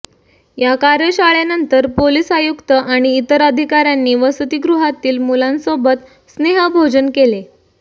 या कार्यशाळेनंतर पोलीस आयुक्त आणि इतर अधिकाऱ्यांनी वसतिगृहातील मुलांसोबत स्नेह भोजन केले